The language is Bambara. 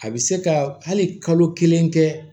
A bɛ se ka hali kalo kelen kɛ